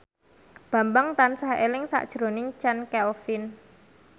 Bambang tansah eling sakjroning Chand Kelvin